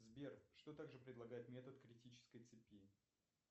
сбер что также предлагает метод критической цепи